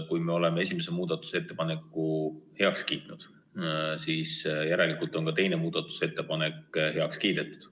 Kui me oleme esimese muudatusettepaneku heaks kiitnud, siis järelikult on ka teine muudatusettepanek heaks kiidetud.